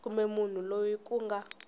kumbe munhu loyi ku nga